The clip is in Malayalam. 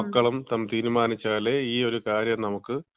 മക്കളും തീരുമാനിച്ചാലേ ഈയൊരു കാര്യം നമുക്ക്